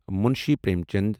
Munshi Prem Chand